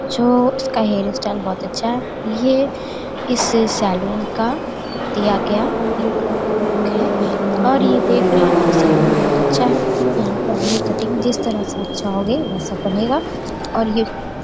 जो इसका hair style बहुत अच्छा है ये इस सैलून का दिया गया इक है और ये देख रहे हैं कि सैलून बहुत अच्छा है यहाँ पर हमें कटिंग जिस तरह से आप चाहोगे वैसा बनेगा और ये --